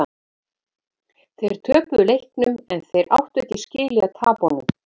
Þeir töpuðu leiknum en þeir áttu ekki skilið að tapa honum.